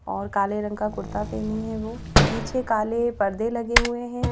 और काले रंग का कुर्ता पहनी है वो पीछे काले पर्दे लगे हुए हैं।